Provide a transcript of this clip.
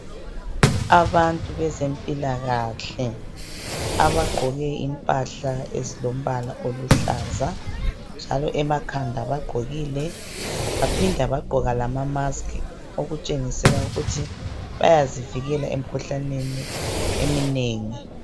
Abantu bezempilakahle abagqoke impahla ezilombala oluhlaza njalo emakhanda bagqokile baphinda bagqoka lama mask okutshengisela ukuthi bayazivikela emikhuhlaneni eminengi.